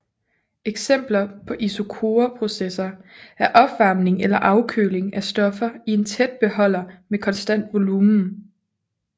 Eksempler på isokore processer er opvarming eller afkøling af stoffer i en tæt beholder med konstant volumen